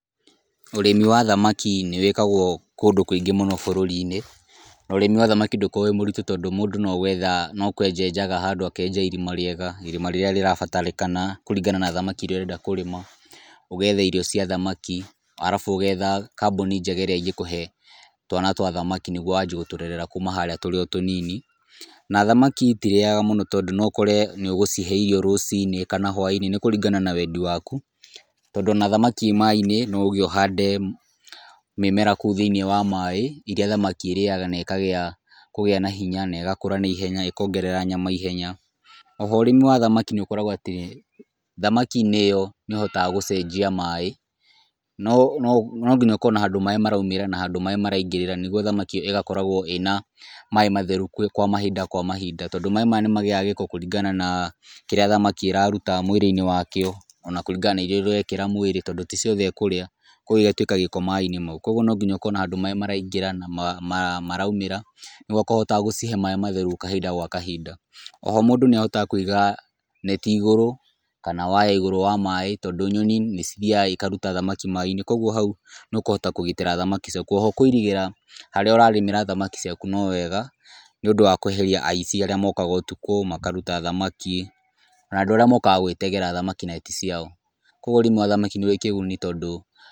Ũrĩmi wa thamaki nĩ wĩkagwo kũndũ kũingĩ mũno bũrũri-inĩ. Na ũrĩmi wa thamaki ndũkoragwo wĩ mũritũ tondũ mũndũ no kwenja enjaga handũ, akenja irima rĩega, irima rĩrĩa rĩrabatarĩkana kũringana na thamaki iria ũrenda kũrĩma. Ũgetha irio cia thamaki, arabu ũgetha kambuni njega ĩrĩa ĩngĩkũhe twana twa thamaki nĩguo wanjie gũtũrerera kuma tũrĩ o harĩa tũnini. Na thamaki itirĩaga mũno tondũ no ũkore nĩũgũcihe irio rũciinĩ kana hwainĩ; nĩ kũringana na wendi waku, tondũ ona thamaki ĩĩ maĩ-inĩ no uge ũhande mĩmera kũu thĩ-inĩ wa maaĩ iria thamaki irĩaga na ĩkagĩa kũgĩa na hinya na ĩgakũra na ihenya, ĩkongerera nyama ihenya. Oho ũrĩmi wa thamaki nĩũkoragwo atĩ, thamaki-inĩ ĩyo nĩũhotaga gũcenjia maaĩ. No nginya ũkorwo na handũ maaĩ maraumĩra na handũ maaĩ maraingĩrĩra nĩguo thamaki ĩyo ĩgakoragwo ĩna maaĩ matheru kwa mahinda kwa mahinda, tondũ maaĩ maya nĩmagĩaga gĩko kũringana na kĩrĩa thamaki ĩraruta mwĩrĩ-inĩ wakĩo, ona kũringana na irio iria ũrekĩra mwĩrĩ tondũ ti ciothe ĩkũrĩa. Kogwo igatuĩka gĩko maaĩ-inĩ mau. Kogwo no nginya ũkorwo na handũ maaĩ maraingĩra, na maraumĩra nĩguo ũkahotaga gũcihe maaĩ matheru kahinda gwa kahinda. Oho mũndũ nĩahotaga kũiga neti igũrũ, kana waya igũrũ wa maaĩ tondũ nyoni nĩcithiyaga ikaruta thamaki maaĩ-inĩ. Kogwo hau nĩũkũhota kũgitĩra thamaki ciaku. Oho kũirigĩra harĩa ũrarĩmĩra thamaki ciaku no wega, nĩundũ wa kweheria aici arĩa mokaga ũtukũ makaruta thamaki na andũ arĩa mokaga gwĩtegwera thamaki na ti ciao. Kogwo ũrĩmi wa thamaki nĩũrĩ kĩguni tondu...